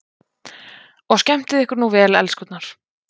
Og skemmtið ykkur nú vel, elskurnar!